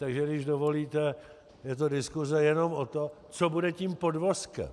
Takže když dovolíte, je to diskuse jenom o tom, co bude tím podvozkem.